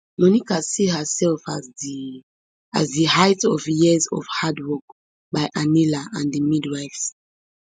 monica see herself as di as di height of years of hard work by anila and di midwives